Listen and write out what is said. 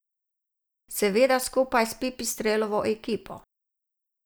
Seveda skupaj s Pipistrelovo ekipo.